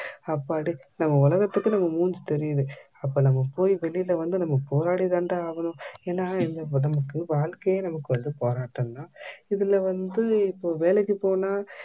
அப்பாடி நம்ப உலகத்துக்கு நம்ப மூஞ்சி தெரியுது அப்போ நம்ப போய் வெளில வந்து நம்ப போராடி தான்டா ஆகணும் ஏன்னா இங்க நமக்கு வாழ்க்கையே நமக்கு வந்து போராட்டம் தான் இதுல வந்து இப்போ வேலைக்கு போனா